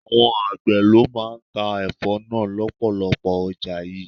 Àwọn àgbè ló máa ń ta Ẹ̀fọ́ náà lọpọlọpọ ọjà yìí.